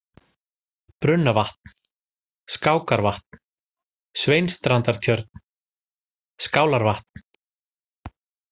Brunnavatn, Skákarvatn, Sveinsstrandartjörn, Skálarvatn